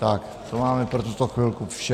Tak, to máme pro tuto chvilku vše.